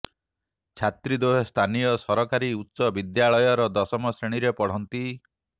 ଛାତ୍ରୀ ଦ୍ବୟ ସ୍ଥାନୀୟ ସରାକରୀ ଉଚ୍ଚ ବିଦ୍ୟାଳୟର ଦଶମ ଶ୍ରେଣୀରେ ପଢ଼ନ୍ତି